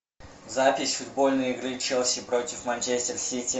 запись футбольной игры челси против манчестер сити